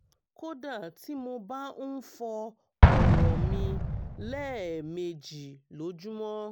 kódà tí mo bá ń fọ́ ọ̀rọ̀ mi lẹ́ẹ̀mejì lójúmọ́